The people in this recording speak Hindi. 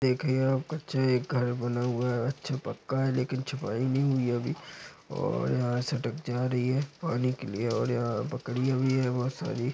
देखिए कच्चा एक घर बना हुआ है। अच्छा पक्का है लेकिन छपाई नहीं हुई है अभी। और यहां सड़क जा रही है। और एक ओ यहां बकरियां भी है बहुत सारी--